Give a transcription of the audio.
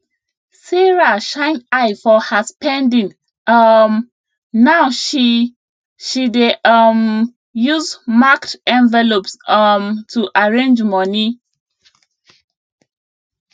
sarah shine eye for her spending um now she she dey um use marked envelopes um to arrange money